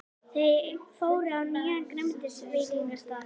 Þau fóru á nýjan grænmetisveitingastað.